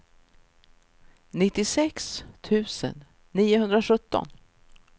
nittiosex tusen niohundrasjutton